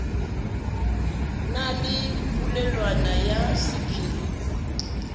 na le polelwana ya sephiri